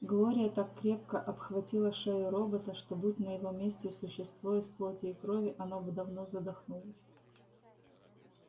глория так крепко обхватила шею робота что будь на его месте существо из плоти и крови оно бы давно задохнулось